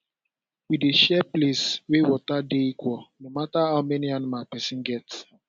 we dey share place wey water dey equal no matter how many animal person get